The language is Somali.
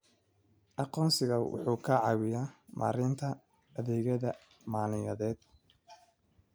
Aqoonsigu wuxuu ka caawiyaa maaraynta adeegyada maaliyadeed.